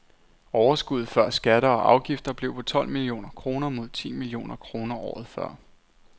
Overskuddet før skatter og afgifter blev på tolv millioner kroner mod ti millioner kroner året før.